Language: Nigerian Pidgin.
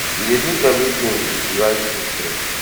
we dey do evritin to to write history